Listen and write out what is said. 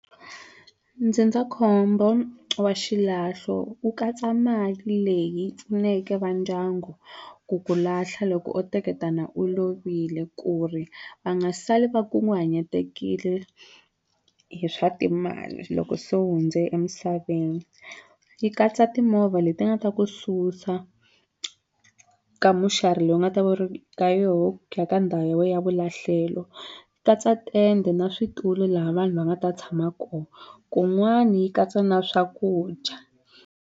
Ndzindzakhombo wa xilahlo wu katsa mali leyi pfuneke va ndyangu ku ku lahla loko o teketana u lovile ku ri va nga sali va kunguhanyetekile hi swa timali loko se u hundze emisaveni yi katsa timovha leti nga ta ku susa ka muxari leyi u nga ta va u ri ka yoho ku ya ka ndhawu ya we ya vulahlelo ku katsa tende na switulu laha vanhu va nga ta tshama koho kun'wani yi katsa na swakudya.